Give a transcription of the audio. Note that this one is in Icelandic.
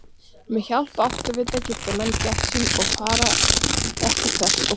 Með hjálp áttavita geta menn gætt sín að fara ekki þvers og kruss!